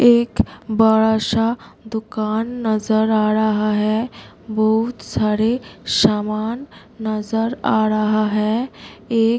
एक बड़ा सा दुकान नजर आ रहा है बहुत सारे सामान नजर आ रहा है एक --